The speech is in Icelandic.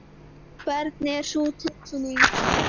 Hvernig er sú tilfinning?